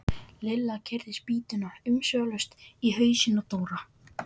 Lilla keyrði spýtuna umsvifalaust í hausinn á Dóra.